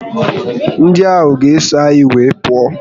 Ndị ahụ ga eso anyị wee pụọ